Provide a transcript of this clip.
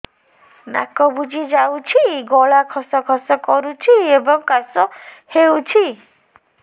ନାକ ବୁଜି ଯାଉଛି ଗଳା ଖସ ଖସ କରୁଛି ଏବଂ କାଶ ହେଉଛି